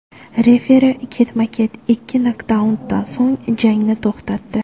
Referi ketma-ket ikki nokdaundan so‘ng jangni to‘xtatdi.